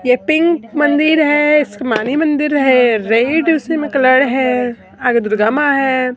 ये पिंक मंदिर है आसमानी मंदिर है रेड उसमें कलर है आगे दुर्गा मां है।